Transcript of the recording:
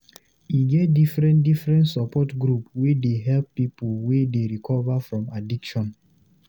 E get differen differen support group wey dey helep pipu wey dey recover from addiction.